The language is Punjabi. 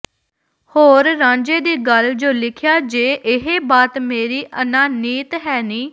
ਹੋਰ ਰਾਂਝੇ ਦੀ ਗੱਲ ਜੋ ਲਿਖਿਆ ਜੇ ਏਹਾ ਬਾਤ ਮੇਰੀ ਅਨਾਨੀਤ ਹੈ ਨੀ